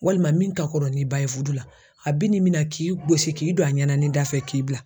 Walima min ka kɔrɔ ni ba ye fudu la a bi n'i mina k'i gosi k'i don a ɲɛna ni da fɛ k'i bila.